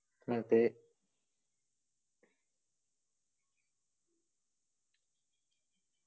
അതെ